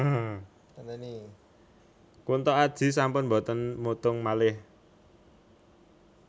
Kunto Aji sampun mboten mutung malih